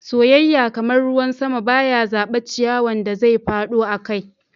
Soyayya, kaman ruwan sama, ba ya zaba ciyawan da zai fado akai.